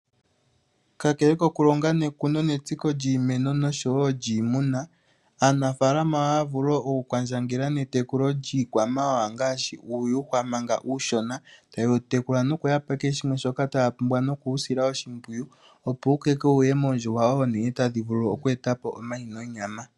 Kakele oku longo, netsiko lyiimeno, nosho wo lyiimuna, aanafalama ohaya vulu wo oku kwandjangela ne tekulo lyii kwamawawa ngaashi uuyuhwa manga uushona. Ta yewu tekula, no ku pa kehe shimwe shoka taya pumbwa no kusila oshipwiyu opo wu koke wuninge oondjuhwa oonene tadhi vulu oku etapo omayi nonyama.